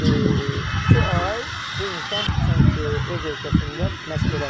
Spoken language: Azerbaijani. İki, iki ay bu insan öz ölkəsində məşq eləməyib də.